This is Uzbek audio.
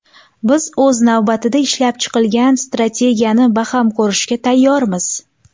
Biz, o‘z navbatida, ishlab chiqilgan strategiyani baham ko‘rishga tayyormiz.